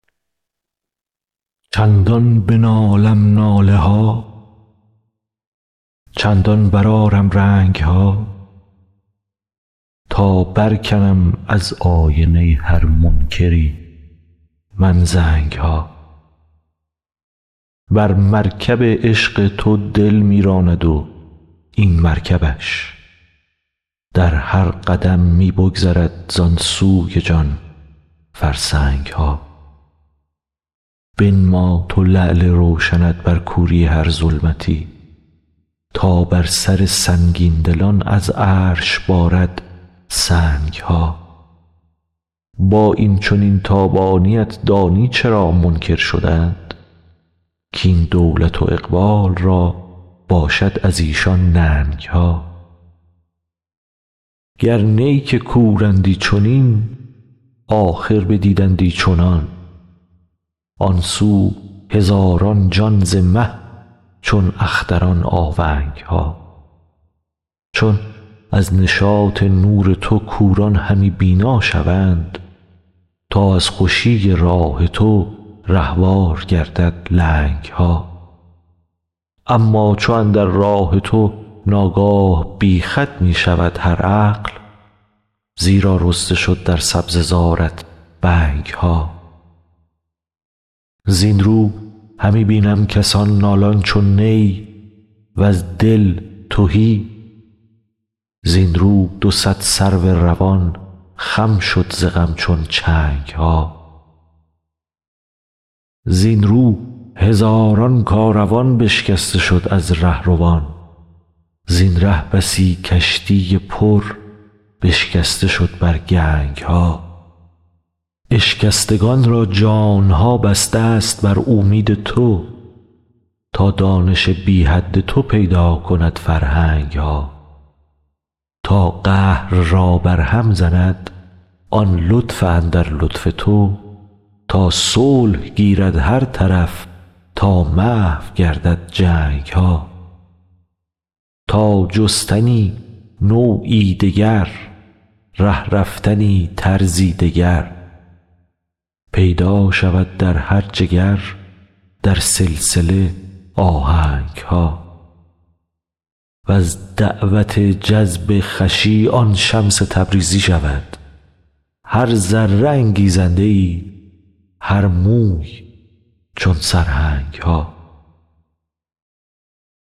چندان بنالم ناله ها چندان برآرم رنگ ها تا برکنم از آینه هر منکری من زنگ ها بر مرکب عشق تو دل می راند و این مرکبش در هر قدم می بگذرد زان سوی جان فرسنگ ها بنما تو لعل روشنت بر کوری هر ظلمتی تا بر سر سنگین دلان از عرش بارد سنگ ها با این چنین تابانی ات دانی چرا منکر شدند کاین دولت و اقبال را باشد از ایشان ننگ ها گر نی که کورندی چنین آخر بدیدندی چنان آن سو هزاران جان ز مه چون اختران آونگ ها چون از نشاط نور تو کوران همی بینا شوند تا از خوشی راه تو رهوار گردد لنگ ها اما چو اندر راه تو ناگاه بی خود می شود هر عقل زیرا رسته شد در سبزه زارت بنگ ها زین رو همی بینم کسان نالان چو نی وز دل تهی زین رو دو صد سرو روان خم شد ز غم چون چنگ ها زین رو هزاران کاروان بشکسته شد از ره روان زین ره بسی کشتی پر بشکسته شد بر گنگ ها اشکستگان را جان ها بسته ست بر اومید تو تا دانش بی حد تو پیدا کند فرهنگ ها تا قهر را برهم زند آن لطف اندر لطف تو تا صلح گیرد هر طرف تا محو گردد جنگ ها تا جستنی نوعی دگر ره رفتنی طرزی دگر پیدا شود در هر جگر در سلسله آهنگ ها وز دعوت جذب خوشی آن شمس تبریزی شود هر ذره انگیزنده ای هر موی چون سرهنگ ها